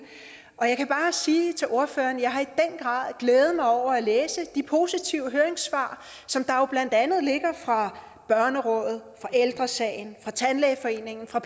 jeg kan bare sige til ordføreren at jeg har glædet mig over at læse de positive høringssvar som der jo blandt andet ligger fra ældre sagen fra tandlægeforeningen fra